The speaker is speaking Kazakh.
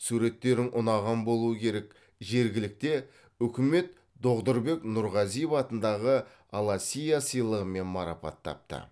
суреттерің ұнаған болуы керек жергілікті үкімет доғдұрбек нұрғазиев атындағы аласиа сыйлығымен марапаттапты